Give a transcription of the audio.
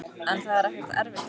En það er ekkert erfitt er það?